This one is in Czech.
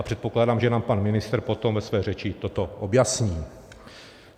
A předpokládám, že nám pan ministr potom ve své řeči toto objasní.